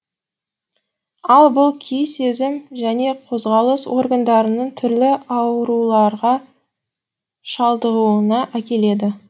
ал бұл күй сезім және қозғалыс органдарының түрлі ауруларға шалдығуына әкеледі